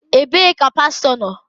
Ebee ka pastọ nọ?